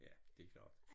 Ja det klart